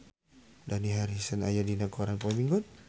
Dani Harrison aya dina koran poe Minggon